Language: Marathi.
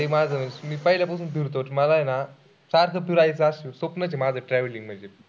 मी पहिल्या पासून फिरतो मला आहे ना सात सुराईचा असं स्वप्नचं आहे माझं traveling म्हणजे